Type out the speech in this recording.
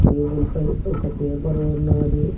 Table పై ఒక paper ఉన్నాది.